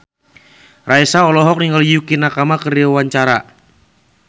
Raisa olohok ningali Yukie Nakama keur diwawancara